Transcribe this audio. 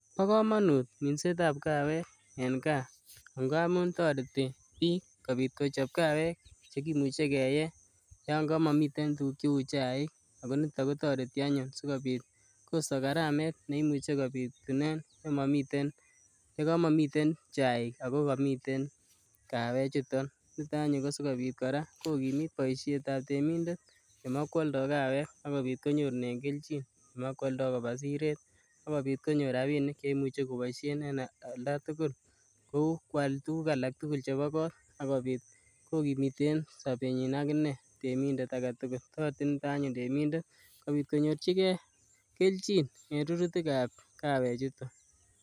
bo kanut minset ab kawawek eng kaa amun toreti bik kocheb kawek che much kee yamamitei chaik ako tareti eng karamet ne kotkiboishen yamami chaik. ak kotoreti kora kokimit boishet ab kawek ak wakwaldai koba siret si kobit koboishen rabinik kou kwal tuguk che bo kot ak komiten boishienyi agine temindet aketugul ak kora si kobit konyorchigei minutik ab kawek chuto